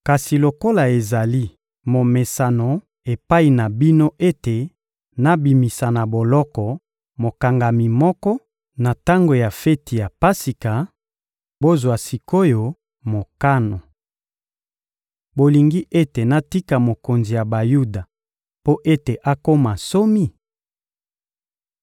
Kasi lokola ezali momesano epai na bino ete nabimisa na boloko mokangami moko, na tango ya feti ya Pasika, bozwa sik’oyo mokano. Bolingi ete natika mokonzi ya Bayuda mpo ete akoma nsomi?